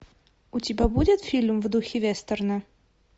у тебя будет фильм в духе вестерна